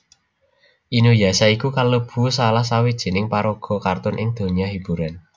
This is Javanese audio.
Inuyasha iku kalebu salah sawijining paraga kartun ing donya hiburan